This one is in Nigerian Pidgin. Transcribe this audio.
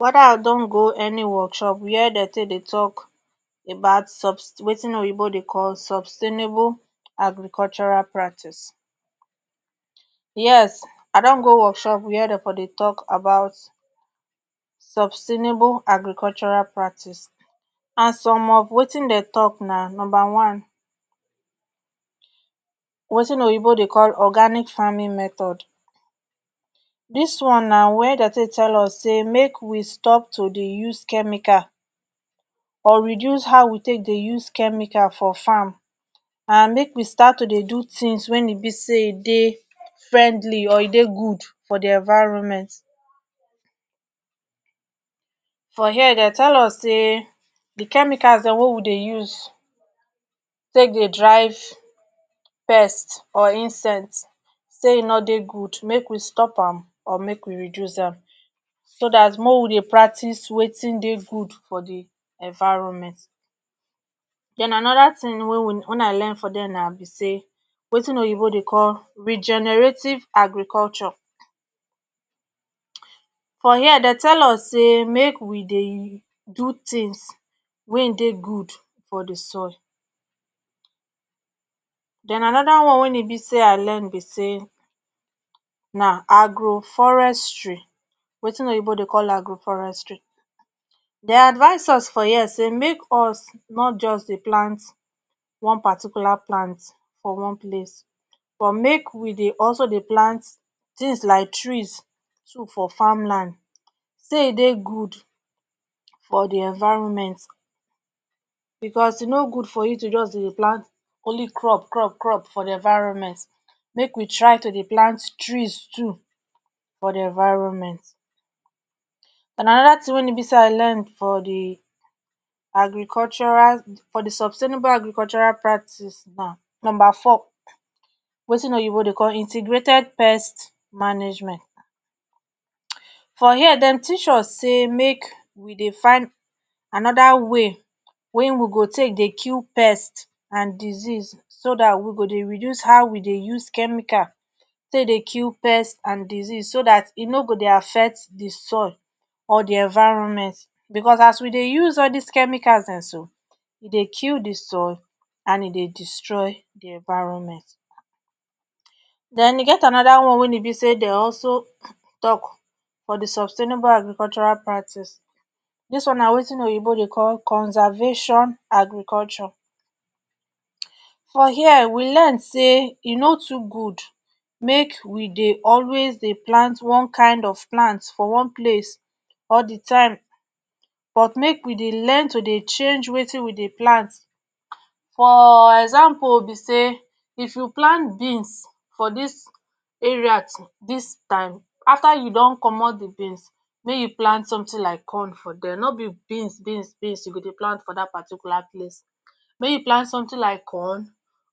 weda I don go any workshop were dey tey dey talk about sub wetin oyinbo dey call sustainable agricultural practis yes I don go workshop were dem dey talk about sustainable agricultural practice and some of wetin dem talk na numba one wetin oyinbo dem dey call organic farming method dis one na wen de tey tell us say make we stop to dey use chemicals or reduce how we take dey use chemicals for farm and make we start to dey do tins wen e be say friendly or dey good for di environment for here Dem tell us say do chemicals Dem wey Dem dey use take dey drive pest or insect say e no dey good make we stop am or make we reduce am so dat make we dey practis wey de good for di environment den anoda tin wey we learn na be say wetin oyinbo dey call regenerative agriculture for here de tell us say make we dey do tins wen dey good for di soil den anoda tin wey I learn be say na agroforestry wetin oyinbo dey call agroforestry dey advise us for here say make us no just dey plant one particular plant for one place but make we dey also dey plant tins like trees too for farmland say e dey good for the environment because e no good for you just dey plant crops crops crops for di environment make we try to dey plant tree too for di environment den anoda tin wey e be say I learn for di agricultural sustainable agricultural practis na numba four wetin oyinbo dey call integrated pest management for here Dem teach us way wen we go take dey kill pest and disease so dat we go dey reduce how we dey reduce chemical dey dey kill pest and disease so dat e no go dey affect di soil or di environment because as we dey use all dis chemicals so dem so e dey kill di soil and e dey destroy di environment den e get anoda one wey be say dey also talk for di sustainable agricultural practis dis one na wetin oyinbo dey call conservation agriculture for here we learn say e no too good make we dey always dey plant one kind or plant for one place all di time but make we dey learn to dey change wetin we dey plant for example be say if you plant beans for dis area dis time after you don comot di beans make you plant sometin like corn for die no be only beans beans beans you go dey plant for dat particular place make you plant sometin like corn